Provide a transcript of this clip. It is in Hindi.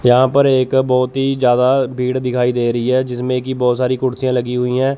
यहां पर एक बहोत ही ज्यादा भीड़ दिखाई दे रही है जिसमें की बहोत सारी कुर्सियां लगी हुई हैं।